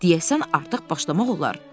Deyəsən artıq başlamaq olar.